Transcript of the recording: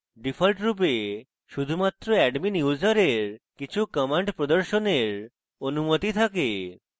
ডিফল্টরূপে শুধুমাত্র admin ইউসারের কিছু commands প্রদর্শনের অনুমতি থাকে